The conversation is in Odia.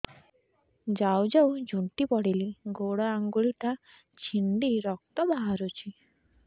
ଯାଉ ଯାଉ ଝୁଣ୍ଟି ପଡ଼ିଲି ଗୋଡ଼ ଆଂଗୁଳିଟା ଛିଣ୍ଡି ରକ୍ତ ବାହାରୁଚି